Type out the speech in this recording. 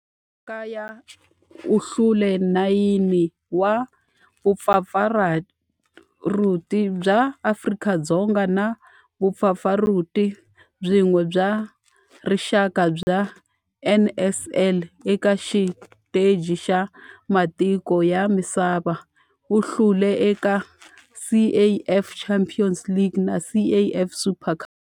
Eka laha kaya u hlule 9 wa vumpfampfarhuti bya Afrika-Dzonga na vumpfampfarhuti byin'we bya rixaka bya NSL. Eka xiteji xa matiko ya misava, u hlule eka CAF Champions League na CAF Super Cup.